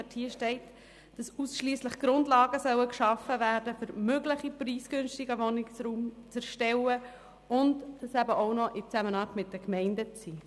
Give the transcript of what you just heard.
Dort steht, dass ausschliesslich Grundlagen geschaffen werden sollen, um das Erstellen von preisgünstigem Wohnraum zu ermöglichen, und dies soll in Zusammenarbeit mit den Gemeinden geschehen.